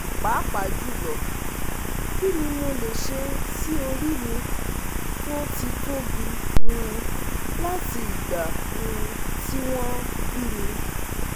papajulo, kini mole se si ori mi to ti tobi um lati igba um ti won bimi